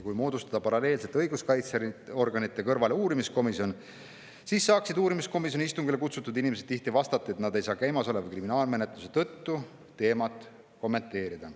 Kui moodustada paralleelselt õiguskaitseorganite kõrvale uurimiskomisjon, siis saaksid uurimiskomisjoni istungile kutsutud inimesed tihti vastata, et nad ei saa käimasoleva kriminaalmenetluse tõttu teemat kommenteerida.